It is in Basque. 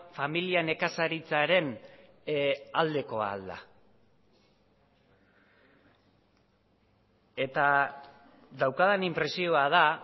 familia nekazaritzaren aldekoa ahal da eta daukadan inpresioa da